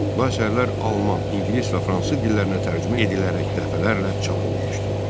Bu əsərlər alman, ingilis və fransız dillərinə tərcümə edilərək dəfələrlə çap olunmuşdu.